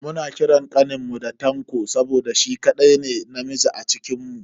Muna kiran kaninmu da Tanko saboda shi kadai ne namiji a cikinmu.